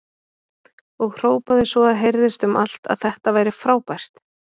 Og hrópaði svo að heyrðist um allt að þetta væri frábært!